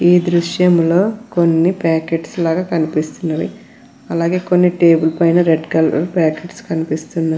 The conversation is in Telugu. ఈ దృశ్యంలో కొన్ని పాకెట్స్ లాగా కనిపిస్తున్నవి అలాగే కొన్ని టేబుల్ పైన రెడ్ కలర్ ప్యాకెట్స్ కనిపిస్తున్నవి.